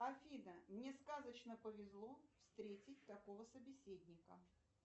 афина мне сказочно повезло встретить такого собеседника